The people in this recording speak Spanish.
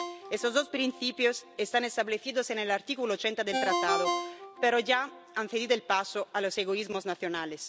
Esos dos principios están establecidos en el artículo 80 del Tratado, pero ya han cedido el paso a los egoísmos nacionales.